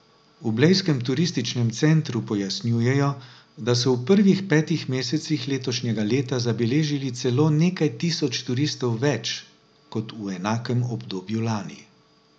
V blejskem turističnem centru pojasnjujejo, da so v prvih petih mesecih letošnjega leta zabeležili celo nekaj tisoč turistov več kot v enakem obdobju lani.